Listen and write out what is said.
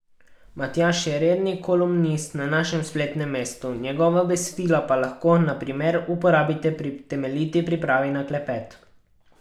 Matjaž je redni kolumnist na našem spletnem mestu, njegova besedila pa lahko, na primer, uporabite pri temeljiti pripravi na klepet.